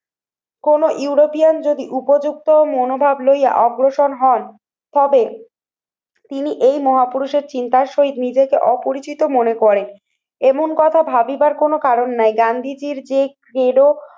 কোনো ইউরোপিয়ান যদি উপযুক্ত মনোভাব লইয়া অগ্রসর হন তবে তিনি এই মহাপুরুষের চিন্তার সহিত নিজেকে অপরিচিত মনে করে এমন কথা ভাবিবার কোনো কারণ নাই। গান্ধীজীর যে